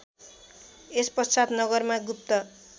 यसपश्चात नगरमा गुप्त